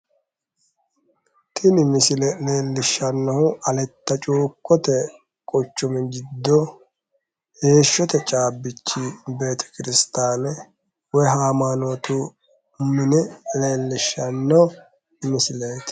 Tini misile leellishshannohu aletta cuukkote quchumi giddo heeshshote caabbichi beetekiristaane woyi haamaanootu mine leellishshanno misileeti.